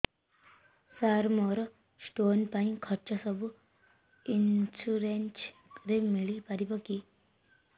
ସାର ମୋର ସ୍ଟୋନ ପାଇଁ ଖର୍ଚ୍ଚ ସବୁ ଇନ୍ସୁରେନ୍ସ ରେ ମିଳି ପାରିବ କି